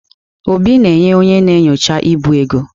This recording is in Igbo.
Obi na-enye onye na-enyocha ibu ego.